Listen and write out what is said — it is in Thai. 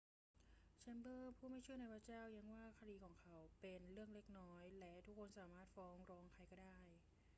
แชมเบอรส์ผู้ไม่เชื่อในพระเจ้าแย้งว่าคดีของของเขาเป็น เรื่องเล็กน้อย และ ทุกคนสามารถฟ้องร้องใครก็ได้